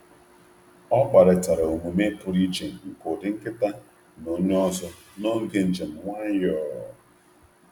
Ọ kparịtara omume pụrụ iche nke ụdị nkịta na onye ọzọ n’oge njem nwayọọ.